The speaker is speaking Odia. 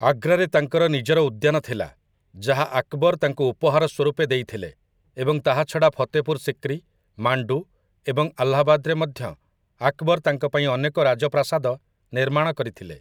ଆଗ୍ରାରେ ତାଙ୍କର ନିଜର ଉଦ୍ୟାନ ଥିଲା, ଯାହା ଆକବର ତାଙ୍କୁ ଉପହାର ସ୍ୱରୂପେ ଦେଇଥିଲେ, ଏବଂ ତାହା ଛଡ଼ା ଫତେପୁର ସିକ୍ରି, ମାଣ୍ଡୁ ଏବଂ ଆହ୍ଲାବାଦରେ ମଧ୍ୟ ଆକବର ତାଙ୍କ ପାଇଁ ଅନେକ ରାଜପ୍ରାସାଦ ନିର୍ମାଣ କରିଥିଲେ ।